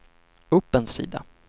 upp en sida